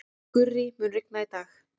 Gurrí, mun rigna í dag?